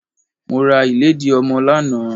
Mo ra ìlédìí ọmọ lánàá.